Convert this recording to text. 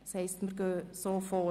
Das heisst, wir gehen so vor.